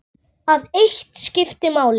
Það eitt skipti máli.